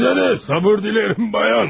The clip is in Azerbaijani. Sizə də sabır diləyirəm, bayan.